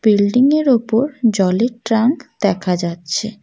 Building -এর ওপর জলের ট্রাঙ্ক দেখা যাচ্ছে।